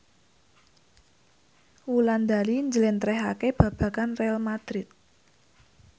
Wulandari njlentrehake babagan Real madrid